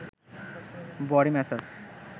body massage